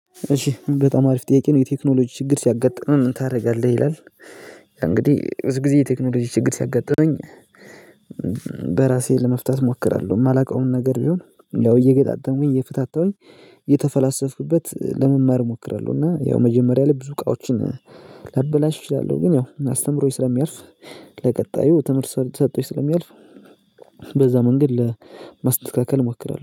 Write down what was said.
እሺ በጣም አሪፍ ጥያቄ ነው የቴክኖሎጂ ችግር ሲያጋጥምህ ምን ታደርጋለህ ይላል? እንግዲህ ብዙ ጊዜ የቴክኖሎጂ ችግር ሲያጋጥመኝ። በራሴ ለመፍታት እሞክራለሁ የማላውቀውን ነገር ቢሆን ያው እየገጣጠምኩኝ እየፈታታሁኝ እየተፈላሰፍኩበት ለመማር እሞክራለሁ። እና ያው መጀመሪያ ላይ ብዙ እቃዎችን ላበላሽ እችላለሁ። ግን ያው አስተምሮኝ ስለሚያልፍ ለቀጣዩ ትምህርት ሰጥቶኝ ስለሚያልፍ። በዛ መንገድ ለማስተካከል እሞክራለሁ